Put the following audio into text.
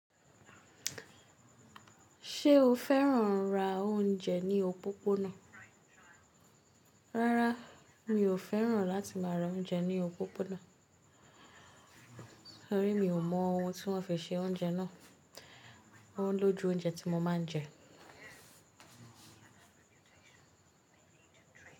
Ṣé o fẹ́ràn ra oúnjẹ ní òpópónà? Rárá, mi ò fẹ́ràn láti máa ra oúnjẹ ní òpópónà, torí mi ò mọ ohun tí wọ́n fi ṣe oúnjẹ náà. Wọ́n ń lójú oúnjẹ tí mo máa ń jẹ.